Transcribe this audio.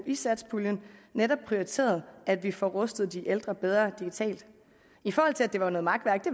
i satspuljen netop prioriteret at vi får rustet de ældre bedre digitalt i forhold til at det var noget makværk